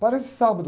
Aparece sábado